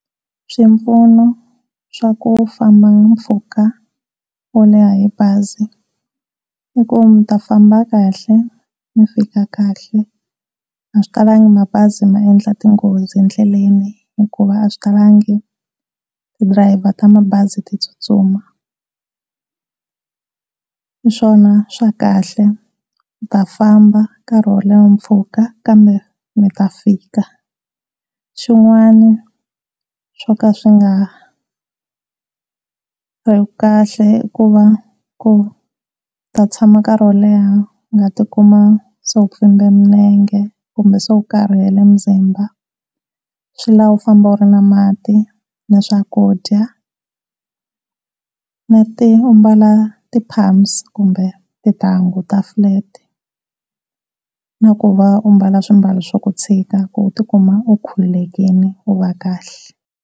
Swipfuno swa ku famba mpfhuka wo leha hi bazi i ku mi ta famba kahle mi fika kahle a swi talangi mabazi maendla tinghozi endlelani hikuva a swi talangi ti-driver ta mabazi ti tsutsuma hiswona swa kahle mi ta famba karhi wo leha mpfhuka kambe mita fika. Xin'wana swo ka swi nga ri kahle i ku va ku mi ta tshama nkarhi wo leha u nga ti kuma se u pfumbe milenge kumbe se u karhele muzimba swi lava u famba u ri na mati ni swakudya u mbala ti-pams kumbe tintangu ta-flat na ku va u mbala swimbalo swo tshika ku u tikuma u khululekile u va kahle.